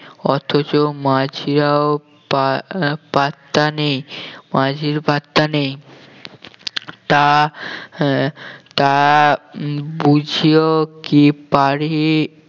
অথচ মাঝিরাও পা আহ পাত্তা নেই মাঝির পাত্তা নেই তা আহ তা বুঝেও কি পারি